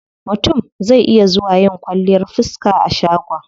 Mutum zai iya zuwa yin kwalliyar fiska a shagon.